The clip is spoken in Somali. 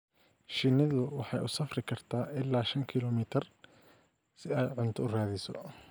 Shinnidu waxay u safri kartaa ilaa shan kiilomitir si ay cunto u raadiso.